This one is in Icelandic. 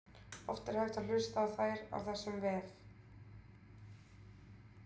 oft er hægt að hlusta á þær á þessum vef